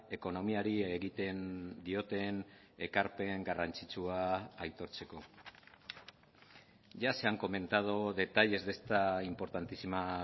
ekonomiari egiten dioten ekarpen garrantzitsua aitortzeko ya se han comentado detalles de esta importantísima